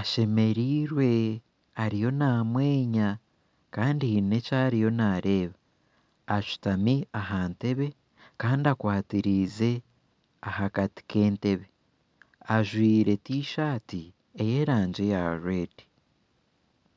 ashemereirwe ariyo namwenya kandi haine eki ariyo naareeba ashutami aha ntebe Kandi akwatiraize ahakati k'entebe ajwaire Tishati eyeragi ya rwedi